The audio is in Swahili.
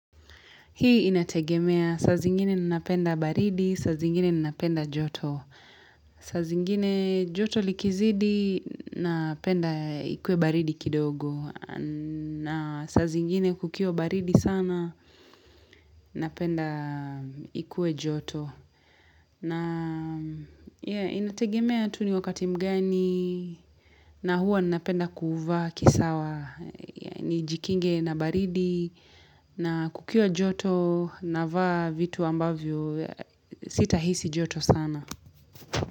Hii inategemea saa zingine ninapenda baridi, saa zingine ninapenda joto. Saza zingine joto likizidi, napenda ikue baridi kidogo. Na saa zingine kukiwa baridi sana, napenda ikue joto. Na inategemea tu ni wakati mgani, na huwa ninapenda kuvaa kisawa. Nijikinge na baridi na kukiwa joto navaa vitu ambavyo sita hisi joto sana.